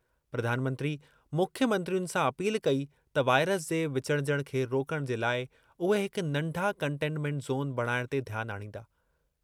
प्रधानमंत्री मुख्यमंत्रियुनि सां अपील कई त वाइरस जे विचुड़जणु खे रोकणु जे लाइ उहे हिक नंढा कंटेनमेंट ज़ोन बणाइण ते ध्यान आणींदा।